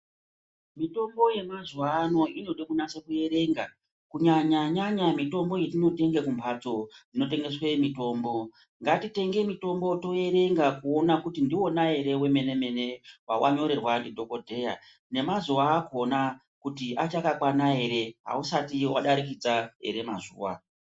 Mitombo yemazuwa ano inode kunyasa kuerenga kunyanya nyanya mitombo yatinotenge kumbatso dzinotengeswa mitombo. Ngatitenge mitombo toerenga kuona kuti ndiwona wemene mene ere wawa nyorerwa ndi dhokodheya nemazuwa akhona kuti achakakwana ere ausati wadarikidza ere mazuwa .